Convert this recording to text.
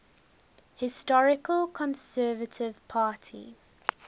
historical conservative party